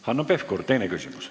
Hanno Pevkur, teine küsimus.